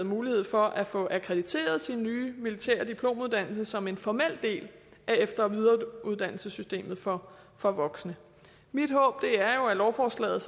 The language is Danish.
mulighed for at få akkrediteret sin nye militære diplomuddannelse som en formel del af efter og videreuddannelsessystemet for for voksne mit håb er jo at lovforslaget